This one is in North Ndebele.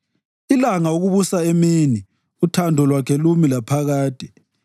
Ilanga ukubusa emini, uthando lwakhe lumi laphakade.